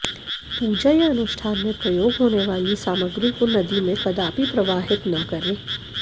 पूजा या अनुष्ठान में प्रयोग होने वाली सामग्री को नदी में कदापि प्रवाहित न करें